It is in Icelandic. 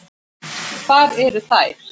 Hvar eru þær?